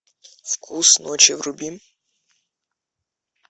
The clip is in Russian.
вкус ночи вруби